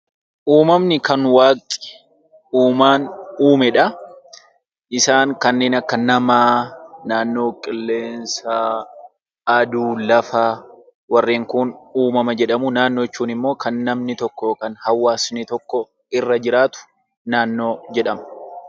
Uumamni kan waaqni, uumaan uumedha. Isaanis kanneen akka namaa naannoo, qilleensa , aduu, lafa warreen Kun uumama jedhamu. Naannoo jechuun immoo kan namni tokko yokaan immoo hawaasni irra jiraatu naannoo jedhama.